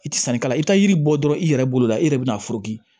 I tɛ sanni kala i bɛ taa yiri bɔ dɔrɔn i yɛrɛ bolo la i yɛrɛ bɛ n'a